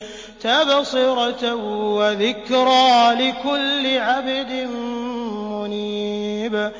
تَبْصِرَةً وَذِكْرَىٰ لِكُلِّ عَبْدٍ مُّنِيبٍ